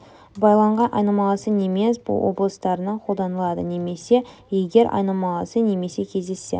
байланған айнымалысы немес облыстарына қолданылады немесе егер айнымалысы немесе кездессе